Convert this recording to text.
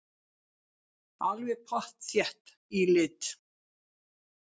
Alveg pottþétt í lit.